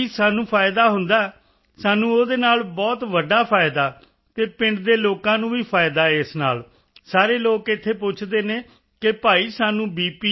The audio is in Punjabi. ਜੀ ਸਾਨੂੰ ਫਾਇਦਾ ਹੁੰਦਾ ਹੈ ਸਾਨੂੰ ਉਸ ਨਾਲ ਬਹੁਤ ਵੱਡਾ ਫਾਇਦਾ ਹੈ ਅਤੇ ਪਿੰਡ ਦੇ ਲੋਕਾਂ ਨੂੰ ਵੀ ਫਾਇਦਾ ਹੈ ਇਸ ਨਾਲ ਸਾਰੇ ਲੋਕ ਇੱਥੇ ਪੁੱਛਦੇ ਹਨ ਕਿ ਭਾਈ ਸਾਨੂੰ ਬੀ